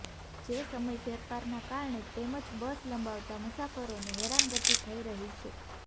જે સમય ફેરફારના કારણે તેમજ બસ લંબાવતા મુસાફરોને હેરાનગતિ થઇ રહી છે